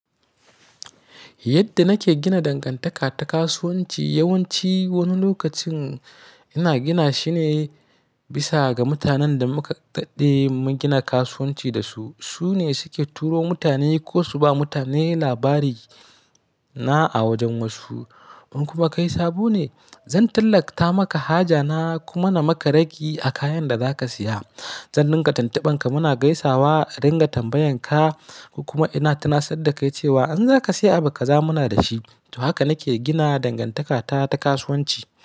Yadda nake gina dangantaka ta kasuwanci, yawanci wani lokacin ina gina shi ne bisa ga mutanen da muka daɗe mun gina kasuwanci da su. Su ne suke turo mutane ko su ba mutane labari na a wajen wasu. Kuma kai sabo ne, zan tallata maka haja na kuma na maka ragi a kayan da za ka saya. Zan dinga tuntuban ka muna gaisawa, adinga tambayan ka kuma ina tunasar da kai cewa in za ka sayi abu ka za mu na da shi. To haka nake gina dangantakata ta kasuwanci.